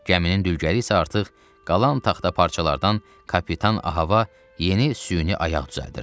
Gəminin dülgəri isə artıq qalan taxta parçalardan kapitan Ahava yeni süni ayaq düzəldirdi.